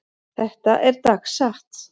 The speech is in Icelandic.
Þetta er dagsatt.